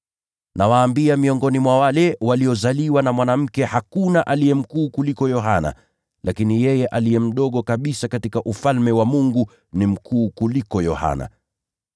Nawaambia, miongoni mwa wale waliozaliwa na wanawake, hakuna aliye mkuu kuliko Yohana. Lakini yeye aliye mdogo kabisa katika Ufalme wa Mungu ni mkuu kuliko Yohana.”